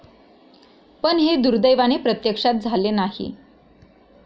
पण हे दुर्दैवाने प्रत्यक्षात झाले नाही.